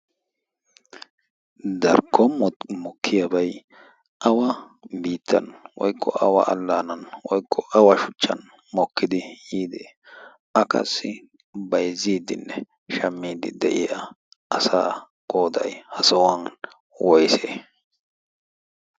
darkkon mokkiyaabay awa biittan woiqqo awa allaanan woykko awa shuchchan mokkidi yiidi akassi baizziiddinne shammiidi de'iya asa qoday ha sohuwan woyse?